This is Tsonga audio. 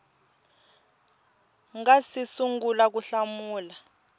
nga si sungula ku hlamula